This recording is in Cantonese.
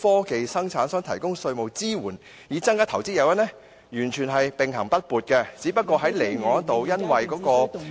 科技生產商提供稅務支援，以增加投資誘因"完全並行不悖，只不過在離岸方面，基於......